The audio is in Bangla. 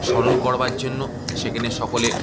স্মরণ করার জন্য সেখানে সকলে--